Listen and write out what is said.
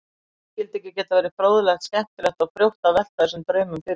Því skyldi ekki geta verið fróðlegt, skemmtilegt og frjótt að velta þessum draumum fyrir sér?